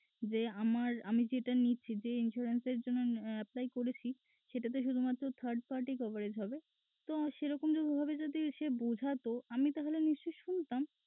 যে আমার আমি যেটা নিচ্ছি যে insurance এর জন্যে আহ apply করেছি সেটাতে শুধুমাত্র third party coverage হবে তো সেরকম ভাবে যদি সে বুঝাতো আমি তাহলে নিশ্চয়ই আমি শুনতাম।